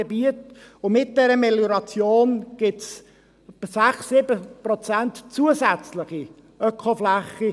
Mit dieser Melioration gibt es 6, 7 Prozent zusätzliche Ökofläche.